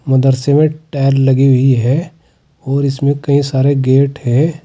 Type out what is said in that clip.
मदरसे में टैल लगी हुई है और इसमें कई सारे गेट है।